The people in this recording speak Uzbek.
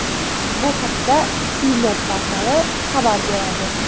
Bu haqda CNET portali xabar beradi .